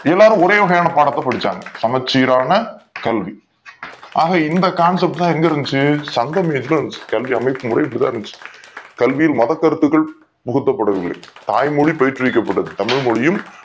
எல்லாரும் ஒரே வகையான பாடத்த படிச்சாங்க சமச்சீறான கல்வி ஆகை இந்த concept எங்க இருந்துச்சி சங்கம் எங்க கல்வி அமைப்பு முறை இப்டிதா இருந்துச்சி கல்வி மத கருத்துகள் முகத்த படவில்லை தாய் மொழி போற்று விக்கப் பட்டது தமிழ் மொழியும்